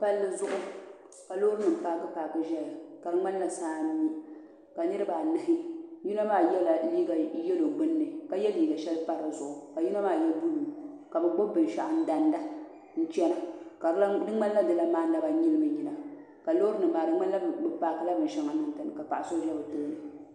Palli zuɣu ka lɔɔrinim paakipaaki ʒaya ka di mŋanla saa n mi ka niribi anahi yinɔ maa yela liiga yelɔw gbuni ka ye liiga shɛli n pa dizuɣu ka yinɔ maa ye blue, kabɛ gbubi bin shaɣu n damda, n chana ka di mŋanla, dilan maa naba nyilimina ka lɔɔrinim maa di mŋanla bɛ paakila dishaŋa dini kapaɣa so ʒɛ bɛtooni.